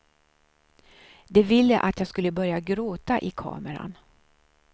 De ville att jag skulle börja gråta i kameran.